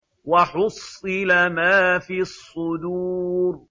وَحُصِّلَ مَا فِي الصُّدُورِ